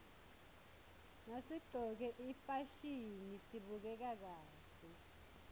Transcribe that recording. nasiqcoke ifasihni sibukeka kahle